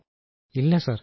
രാജേഷ് പ്രജാപതി ഇല്ല സർ